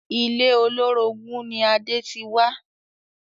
Ilé olórogún ni Adé ti wá